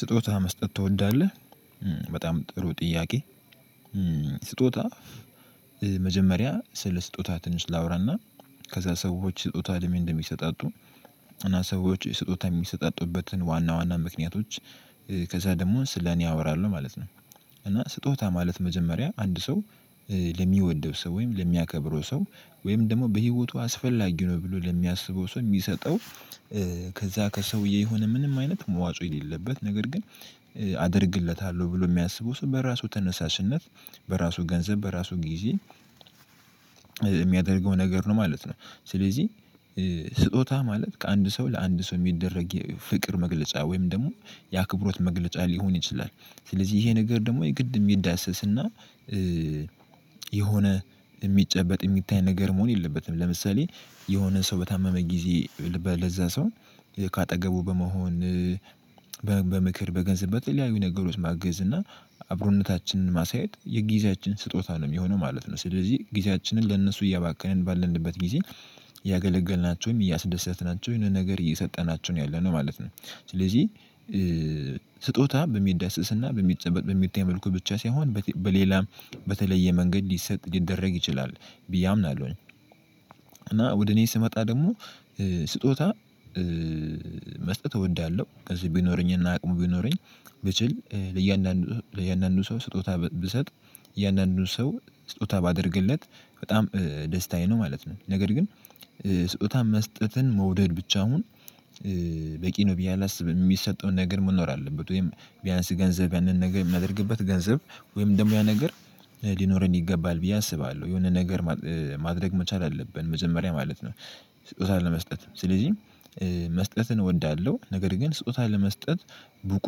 ስጦታ መስጠት ትወዳለህ? በጣም ጥሩ ጥያቄ ስጦታ መጀመሪያ ስለ ስጦታ ትንሽ ላውራና ከዛ ሰዎች ስጦታ ለምን እንደሚሰጣጡ እና ሰዎች ስጦታ የሚሰጣጡበትን ዋና ዋና ምክንያቶች ከዛ ደግሞ ስለኔ አወራለሁ ማለት ነው። እና ስጦታ ማለት መጀመሪያ አንድ ሰው ለሚወደው ሰው ወይም ለሚያከብረው ሰው ወይም ደግሞ በህይወቱ አስፈላጊ ነው ብሎ ለሚያስበው ሰው የሚሰጠው ከዛ ከሰውዬ የሆነ ምንም አይነት መዋጽኦ የሌለበት ነገር ግን አደርግለታለሁ ብሎ የሚያስበው ሰው በራሱ ተነሳሽነት በራሱ ገንዘብ በራሱ ጊዜ የሚያደርገው ነገር ነው ማለት ነው። ስለዚህ ስጦታ ማለት ከአንድ ሰው ለአንድ ሰው የሚደረግ የፍቅር መግለጫ ወይም ደግሞ የአክብሮት መግለጫ ሊሆን ይችላል። ስለዚህ ይሄ ነገር ደግሞ የግድ የሚዳሰስና የሆነ የሚጨበጥ የሚታይ ነገር መሆን የለበትም ለምሳሌ የሆነ ሰው በታመመ ጊዜ ለበ ለዛ ሰው ከአጠገቡ በመሆን በገንዘብ በተለያዩ ነገሮች ማገዝ እና አብሮነታችንን ማሳየት የጊዜያችን ስጦታ ነው የሚሆነው ማለት ነው። ስለዚህ ጊዜያችንን ለእነሱ እያባከንን ባልንበት ጊዜ እያገለገልናቸውም እያሰደሰትናቸው የሆነ ነገር እየሰጠናቸው ነው ያለነው ማለት ነው። ስለዚህ ስጦታ በሚዳሰስና በሚጨበጥ በሚታየው መልኩ ብቻ ሳይሆን በቴ በሌላም በተለየ መንገድ ሊሰጥ ሊደረግ ይችላል ብዬ አምናለሁኝ። እና ወደ እኔ ስመጣ ደግሞ ስጦታ መስጠት እወዳለሁ ከዚህ ቢኖረኝና አቅሙ ቢኖረኝ ብችል ለእያንዳንዱ ለእያንዳንዱ ሰው ስጦታ ብ ብሰጥ የእያንዳንዱ ሰው ስጦታ ባደርግለት በጣም ደስታዬ ነው ማለት ነው። ነገር ግን ስጦታን መስጠትን መውደድ ብቻ ውን በቂ ነው ብዬ አላስብም። የሚሰጠውን ነገር መኖር አለበት ወይም ቢያንስ ገንዘብ ያንን ነገር የምናደርግበት ገንዘብ ወይም ደግሞ ያ ነገር ሊኖረን ይገባል ብዬ አስባለሁ የሆነ ነገር ማድረግ መቻል አለብን መጀመሪያ ማለት ነው። ስጦታ ለመስጠት ስለዚህ መስጠትን እወዳለሁ ነገር ግን ስጦታ ለመስጠት ብቁ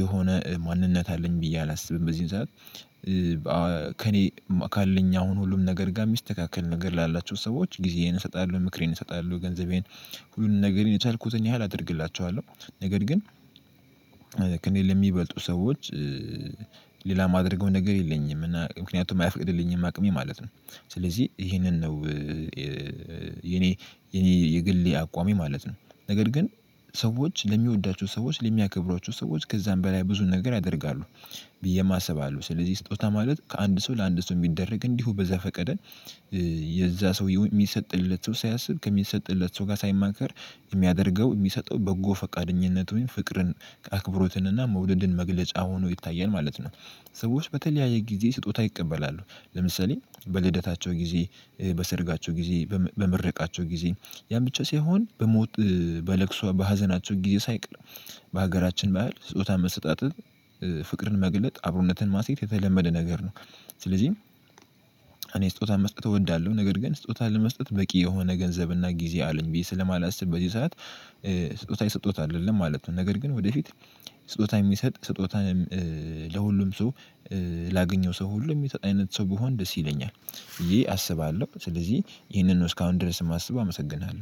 የሆነ ማንነት አለኝ ብዬ አላስብም። በዚህን ሰዓት ካለኝ አሁን ሁሉም ነገር ጋር የሚስተካከል ነገር ላላቸው ሰዎች ጊዜዬን እሰጣለሁ ምክሬን እሰጣለሁ ገንዘቤን ሁሉንም ነገር የቻልኩትን ያህል አደርግላቸዋለሁ ነገር ግን ከእኔ ለሚበልጡ ሰዎች ሌላ የማደርገው ነገር የለኝም እና ምክንያቱም አይፈቅድልኝም አቅሜ ማለት ነው። ስለዚህ ይሄንን ነው የኔ የግሌ አቋሜ ማለት ነው። ነገር ግን ሰዎች ለሚወዳቸው ሰዎች ለሚያከብሯቸው ሰዎች ከዛም በላይ ብዙ ነገር ያደርጋሉ ብዬም አስብ አለው ስለዚህ ስጦታ ማለት ከአንድ ሰው ለአንድ ሰው የሚደረግ እንዲሁ በዘ ፈቀደ የዛ ሰውየው የሚሰጥለት ሰው ሳያስብ ከሚሰጥለት ሰው ጋር ሳይማከር የሚያደርገው የሚሰጠው በጎ ፈቃደኝነት ወይም ፍቅርን ከአክብሮትን እና መውደድን መግለጫ ሆኖ ይታየል ማለት ነው። ሰዎች በተለያየ ጊዜ ስጦታ ይቀበላሉ ለምሳሌ በልደታቸው ጊዜ በሰርጋቸው ጊዜ በም በምርቃታቸው ጊዜ ያን ብቻ ሳይሆን በሞት በለቅሶ በሀዘናቸው ጊዜ ሳይቀር በሀገራችን ባህል ስጦታ መሰጣጠት ፍቅርን መግለጥ አብሮነትን ማስሄድ የተለመደ ነገር ነው። ስለዚህ እኔ ስጦታ መስጠት እወዳለሁ ነገር ግን ስጦታ ለመስጠት በቂ የሆነ ገንዘብና ጊዜ አለኝ ብዬ ስለማላስብ በዚህ ሰዓት ስጦታ እየሰጠውት አይደለም ማለት ነው። ነገር ግን ወደፊት ስጦታ የሚሰጥ ስጦታ ለሁሉም ሰው ላገኘው ሰው ሁሉ የሚሰጥ አይነት ሰው ብሆን ደስ ይለኛል ብየ አስባለሁ ስለዚህ ይሄንን ነው እስካሁን ድረስ የማስበው አመሰግናለሁ